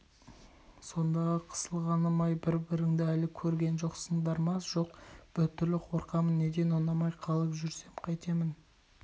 сондағы қысылғаным-ай бір-біріңді әлі көрген жоқсыңдар ма жоқ біртүрлі қорқамын неден ұнамай қалып жүрсем қайтемін